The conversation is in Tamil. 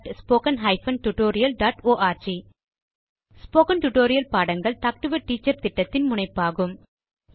contactspoken tutorialorg ஸ்போகன் டுடோரியல் பாடங்கள் டாக் டு எ டீச்சர் திட்டத்தின் முனைப்பாகும்